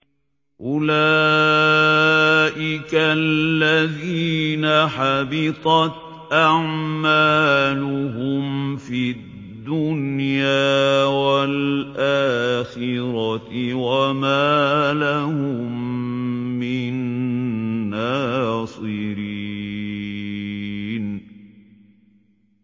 أُولَٰئِكَ الَّذِينَ حَبِطَتْ أَعْمَالُهُمْ فِي الدُّنْيَا وَالْآخِرَةِ وَمَا لَهُم مِّن نَّاصِرِينَ